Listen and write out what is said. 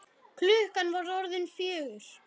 Klukkan var orðin fjögur.